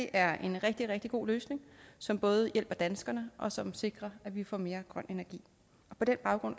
er en rigtig rigtig god løsning som både hjælper danskerne og som sikrer at vi får mere grøn energi på den baggrund